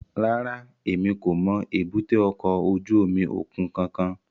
Rárá, Emi ko mọ èbúté ọkọ ojú omi okun kankan